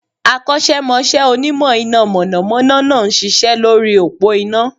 Akọ́sẹ́mọsẹ́ Onímọ̀ iná mọ̀nọ̀mọ́nọ́ náà n ṣiṣẹ́ lórí òpó iná